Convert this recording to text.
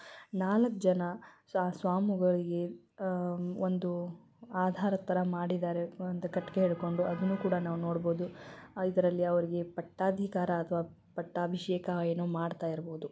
ನಾಲಕ್ಜನ ಸ್ವಾಮಿಗಳಿಗೆ ಅಹ್ ಒಂದು ಆಧಾರದ್ ತರ ಮಾಡಿದ್ದಾರೆ ಒಂದು ಕಟ್ಟಿಗೆ ಹಿಡ್ಕೊಂಡು ಅದನ್ನು ಕೂಡ ನಾವು ನೋಡಬಹುದು ಇದ್ರಲ್ಲಿ ಅವ್ರಿಗೆ ಪಟ್ಟಧಿಕಾರ ಅಥವಾ ಪಟ್ಟಭಿಷೇಕ ಏನೋ ಮಾಡಿತಿರಬಹುದು.